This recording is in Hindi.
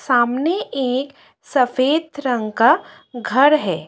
सामने एक सफेद रंग का घर है।